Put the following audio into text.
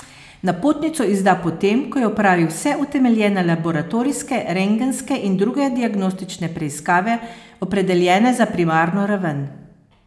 Napotnico izda po tem, ko je opravil vse utemeljene laboratorijske, rentgenske in druge diagnostične preiskave, opredeljene za primarno raven.